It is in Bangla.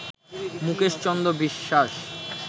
মুকেশ চন্দ্র বিশ্বাস